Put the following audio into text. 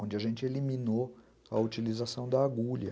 onde a gente eliminou a utilização da agulha.